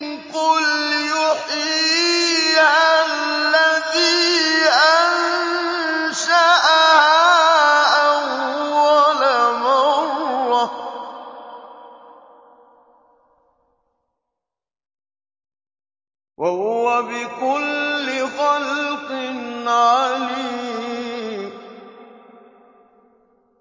قُلْ يُحْيِيهَا الَّذِي أَنشَأَهَا أَوَّلَ مَرَّةٍ ۖ وَهُوَ بِكُلِّ خَلْقٍ عَلِيمٌ